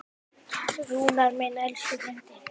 Rúnar minn, elsku frændi.